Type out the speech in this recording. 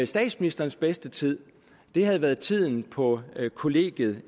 statsministerens bedste tid havde været tiden på kollegiet